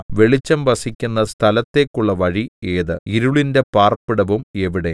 വെളിച്ചം വസിക്കുന്ന സ്ഥലത്തേക്കുള്ള വഴി ഏത് ഇരുളിന്റെ പാർപ്പിടവും എവിടെ